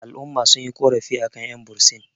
al'umma sun yi ƙorafi a kan 'yanbursin